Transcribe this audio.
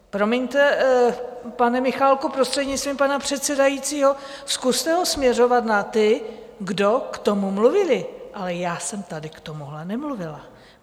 Promiňte, pane Michálku, prostřednictvím pana předsedajícího, zkuste ho směřovat na ty, kdo k tomu mluvili, ale já jsem tady k tomuhle nemluvila.